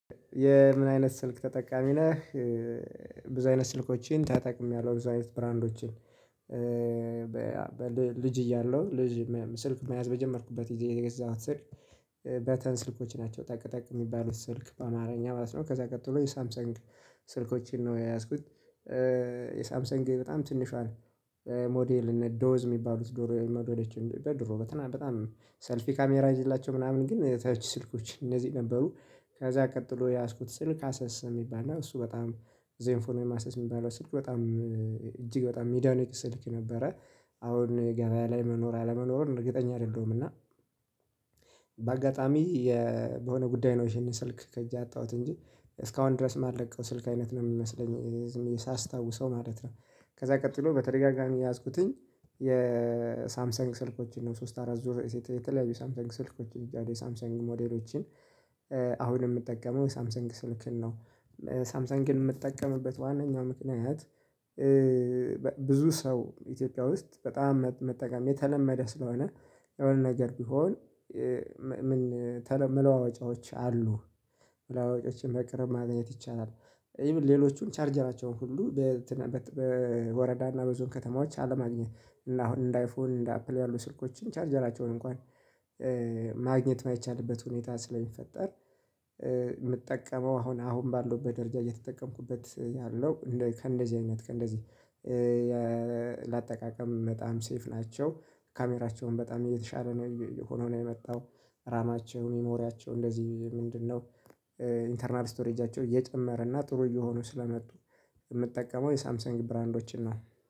የምን አይነት ስልክ ተጠቃሚ ነህ? ብዙ አይነት ስልኮችን ተጠቅሜያለሁ ብዙ አይነት ብራንዶችን። ልጅ እያለሁ ልጅ ስልክ መያዝ በጀመርኩበት ጊዜ የገዛሁት ስልክ። በተን ስልኮች ናቸው ጠቅ ጠቅ የሚባሉት ስልክ በአማርኛ ማለት ነው ከዛ ቀጥሎ የሳምሰንግ ስልኮችን ነው የያዝኩት። የሳምሰንግ በጣም ትንሿን ሞዴልነት ዶዝ የሚባሉት ድሮ ሞዴሎችን በድሮ በጣም በጣም ሰልፊ ካሜራ አይዝላችሁ ምናምን ግን ከወጪ ስልኮች እነዚህ ነበሩ። ከዛ ቀጥሎ የያዝኩት ስልክ አሰስ የሚባል ነው። እሱ በጣም ዜንፎን ወይም አሰስ ሚባለው ስልክ በጣም እጅግ በጣም ሚዲያኖች ይሰጡት ነበረ። አሁን የገበያ ላይ መኖር አለመኖርን እርግጠኛ አይደለሁም እና። በአጋጣሚ የሆነ ጉዳይ ነው ይሄንን ስልክ ከእጄ አጣሁት እንጂ እስካሁን ድረስ የማልለቀው ስልክ አይነት ነው የሚመስለኝ ዝምብየ የሳስታውሰው ማለት ነው። ከዛ ቀጥሎ በተደጋጋሚ የያዝኩትኝ። የሳምሰንግ ስልኮችን ነው ሶስት አራት ዙር የተለያዩ ሳምሰንግ ስልኮች እዳለ ሳምሰንግ ሞዴሎችን። አሁን የምጠቀመው ሳምሰንግ ስልክን ነው። ሳምሰን ግን የምትጠቀምበት ዋናኛው ምክንያት? ብዙ ሰው ኢትዮጵያ ውስጥ በጣም መጠቀም የተለመደ ስለሆነ የሆነ ነገር ቢሆን። መለዋወጫዎች አሉ። መለዋወጫዎችን መቅረብ ማግኘት ይቻላል። ኢቭን ሌሎቹን ቻርጀራቸውን ሁሉ በወረዳና በዞን ከተማዎች አለማግኘት እና አሁን እንደ አይፎን እንደ አፕል ያሉ ስልኮችን ቻርጀራቸውን እንኳን ማግኘት የማይቻልበት ሁኔታ ስለሚፈጠር። የምጠቀመው አሁን አሁን ባለውበት ደረጃ እየተጠቀምኩበት ያለው ከእንደዚህ አይነት ከእንደዚህ ለአጠቃቀም በጣም ሴፍ ናቸው። ካሜራቸውን በጣም እየተሻለ ነው ዕቆመ ነው የመጣው። ራማቸው ሜሞሪያቸው እንደዚህ ምንድነው? ኢንተርናል ስቶሬጃቸው እየጨመረ እና ጥሩ እየሆኑ ስለመጡ። የምትጠቀመው የሳምሰን ብራንዶችን ነው